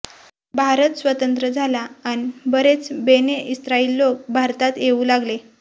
भारत स्वतंत्र झाला अन बरेच बेने इस्राईल लोक भारतात येऊ लागले